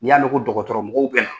N y'a mɛn ko dɔgɔtɔrɔ mɔgɔw bɛ yan